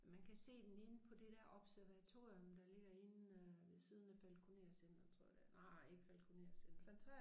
Man kan se den inde på det dér observatorium der ligger inde øh ved siden af Falkoner Centret tror jeg det er nej ikke Falkoner Centret